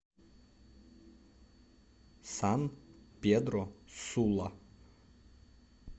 сан педро сула